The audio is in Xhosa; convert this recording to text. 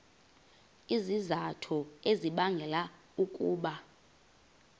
izizathu ezibangela ukuba